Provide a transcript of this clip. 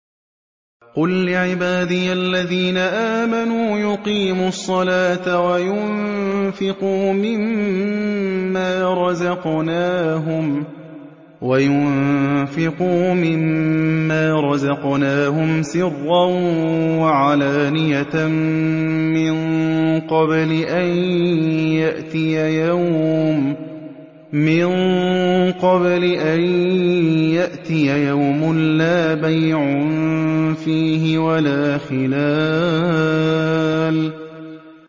قُل لِّعِبَادِيَ الَّذِينَ آمَنُوا يُقِيمُوا الصَّلَاةَ وَيُنفِقُوا مِمَّا رَزَقْنَاهُمْ سِرًّا وَعَلَانِيَةً مِّن قَبْلِ أَن يَأْتِيَ يَوْمٌ لَّا بَيْعٌ فِيهِ وَلَا خِلَالٌ